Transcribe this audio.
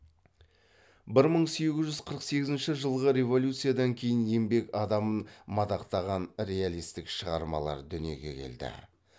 бір мың сегіз жүз қырық сегізінші жылғы революциядан кейін еңбек адамын мадақтаған реалистік шығармалар дүниеге келді